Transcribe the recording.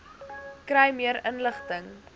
kry meer inligting